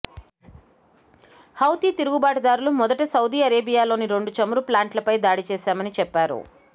Houthi తిరుగుబాటుదారులు మొదట Saudi అరేబియాలోని రెండు చమురు ప్లాంట్లపై దాడి చేశామని చెప్పారు